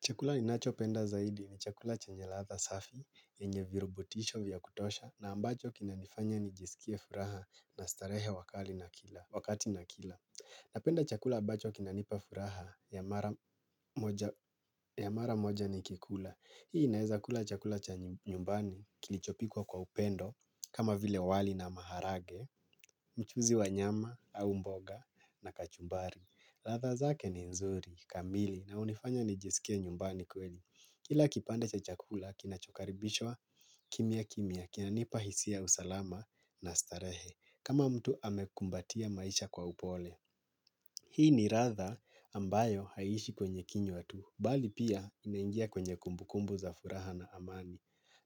Chakula ninachopenda zaidi ni chakula chanye ladha safi yenye virubutisho vya kutosha na ambacho kinanifanya nijisikie furaha na starehe wakati nakila. Napenda chakula ambacho kinanipa furaha ya mara moja nikikula. Hii naeza kula chakula cha nyumbani kilichopikwa kwa upendo kama vile wali na maharage, mchuzi wa nyama au mboga na kachumbari. Ladha zake ni nzuri, kamili, na hunifanya nijisikie nyumbani kweli. Kila kipande cha chakula, kinachokaribishwa kimyakimya kinanipa hisia ya usalama na starehe, kama mtu amekumbatia maisha kwa upole. Hii ni ladha ambayo haiishi kwenye kinywa tu, bali pia inaingia kwenye kumbukumbu za furaha na amani.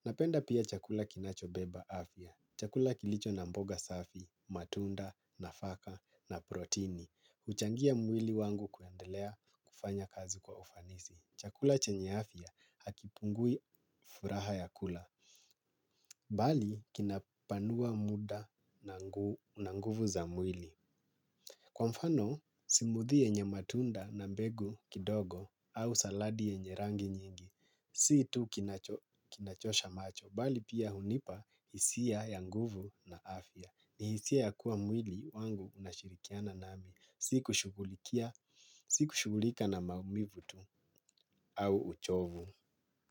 Napenda pia chakula kinachobeba afya. Chakula kilicho na mboga safi, matunda, nafaka, na protini. Huchangia mwili wangu kuendelea kufanya kazi kwa ufanisi. Chakula chenye afya hakipungui furaha ya kula. Bali kinapanua muda na nguvu za mwili. Kwa mfano, smoothie yenye matunda na mbegu kidogo au saladi yenye rangi nyingi. Si tu kinachosha macho bali pia hunipa hisia ya nguvu na afya. Ni hisia ya kuwa mwili wangu unashirikiana nami sikushughulikia, sikushughulika na maumivu tu au uchovu.